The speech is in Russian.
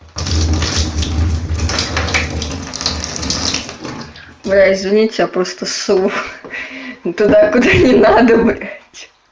да извините я просто сунула туда куда не надо блядь ха ха